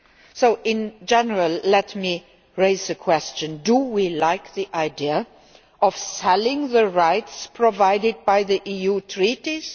So in general, let me raise the question do we like the idea of selling the rights provided by the EU Treaties?